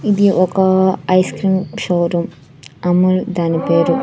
ఇది ఒక ice cream showroom Amul దాని పేరు.